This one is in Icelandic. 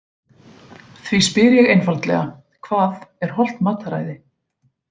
Því spyr ég einfaldlega: Hvað er hollt mataræði?